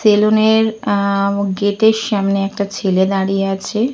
সেলুনের আ গেটে র সামনে একটা ছেলে দাঁড়িয়ে আছে।